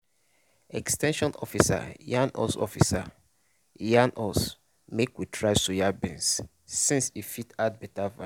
ex ten sion officer yarn us officer yarn us make we try soya beans since e fit add better value.